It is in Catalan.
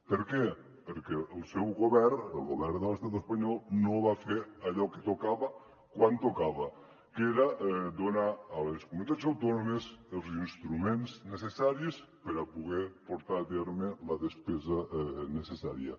per què perquè el seu govern el govern de l’estat espanyol no va fer allò que tocava quan tocava que era donar a les comunitats autònomes els instruments necessaris per a poder portar a terme la despesa necessària